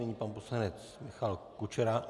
Nyní pan poslanec Michal Kučera.